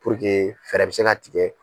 Puruke fɛɛrɛ bɛ se ka tigɛ.